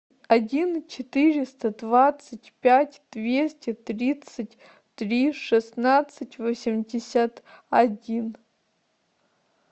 один четыреста двадцать пять двести тридцать три шестнадцать восемьдесят один